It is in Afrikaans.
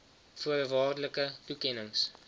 v voorwaardelike toekennings